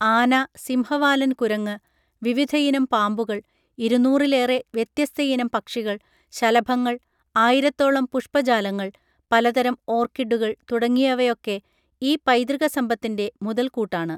ആന സിംഹവാലൻകുരങ്ങ് വിവിധയിനം പാമ്പുകൾ ഇരുന്നൂറിലേറെ വ്യത്യസ്തയിനം പക്ഷികൾ ശലഭങ്ങൾ ആയിരത്തോളം പുഷ്പജാലങ്ങൾ പലതരം ഓർക്കിഡുകൾ തുടങ്ങിയവയൊക്കെ ഈ പൈതൃകസമ്പത്തിന്റെ മുതൽക്കൂട്ടാണ്